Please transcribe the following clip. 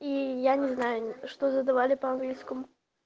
и я не знаю что задавали по английскому